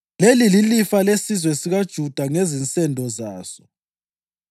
Leli lilifa lesizwe sikaJuda ngezinsendo zaso: